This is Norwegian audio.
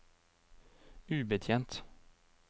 ubetjent